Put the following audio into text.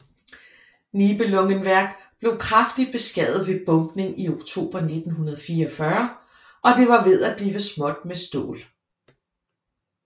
Nibelungenwerk blev kraftigt beskadiget ved bombning i oktober 1944 og det var ved at blive småt med stål